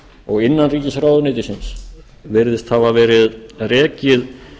og innanríkisráðuneytisins virðist hafa verið rekið